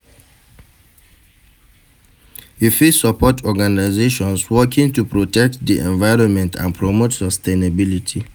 You fit suport organizations working to protect di environment and promote sustainability.